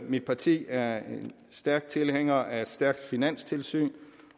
mit parti er en stærk tilhænger af et stærkt finanstilsyn